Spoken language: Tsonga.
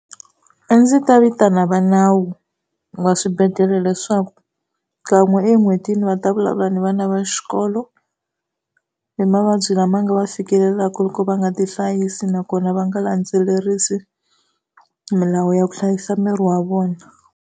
A ndzi ta vitana va nawu va swibedhlele leswaku kan'we en'hwetini va ta vulavula ni vana va xikolo, hi mavabyi lama va nga ma fikelelaka loko va nga tihlayisi nakona va nga landzelerisi milawu ya ku hlayisa miri wa vona.